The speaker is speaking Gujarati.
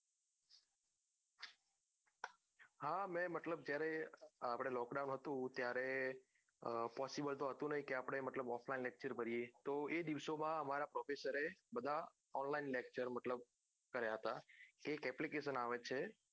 હા મેં મતલબ જયારે અપડે lockdown હતું ત્યારે possible તો હતું નઈ મતલબ કે આપડે offline lecture ભરીએ તો એ દિવસો માં અમારા professor એ બધા online lecture મતલબ કાર્ય હતા એક application આવે છે